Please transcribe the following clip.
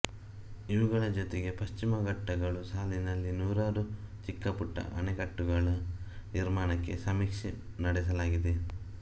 ಇವುಗಳ ಜೊತೆಗೆ ಪಶ್ಚಿಮ ಘಟ್ಟಗಳ ಸಾಲಿನಲ್ಲಿ ನೂರಾರು ಚಿಕ್ಕ ಪುಟ್ಟ ಅಣೆಕಟ್ಟುಗಳ ನಿರ್ಮಾಣಕ್ಕೆ ಸಮೀಕ್ಷೆ ನಡೆಸಲಾಗಿದೆ